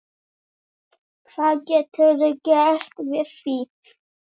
Hvað geturðu gert við því?